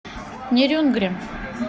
нерюнгри